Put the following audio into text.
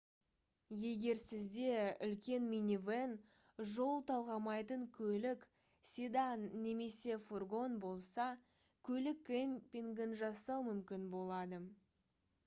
егер сізде үлкен минивен жол талғамайтын көлік седан немесе фургон болса көлік кэмпингін жасау мүмкін болады